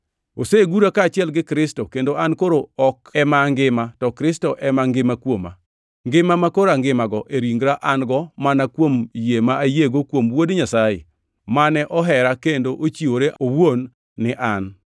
Osegura kaachiel gi Kristo, kendo an koro ok ema angima, to Kristo ema ngima kuoma. Ngima makoro angimago e ringra an-go mana kuom yie ma ayiego kuom Wuod Nyasaye, mane ohera kendo ochiwore owuon ni an.